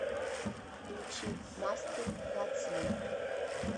включи мастур бацию